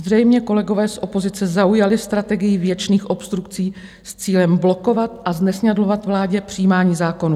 Zřejmě kolegové z opozice zaujali strategii věčných obstrukcí s cílem blokovat a znesnadňovat vládě přijímání zákonů.